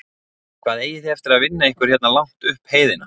Hvað eigið þið eftir að vinna ykkur hérna langt upp heiðina?